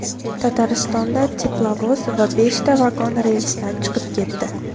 Tataristonda teplovoz va beshta vagon relsdan chiqib ketdi.